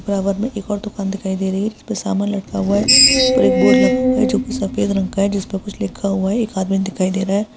में एक और दुकान दिखाई दे रही है जिसपे समान लटका हुआ है और एक बोर्ड लटका हुआ है जो कि सफेद रंग का है जिसमें कुछ लिखा हुआ है एक आदमी दिखाई दे रहा हैं।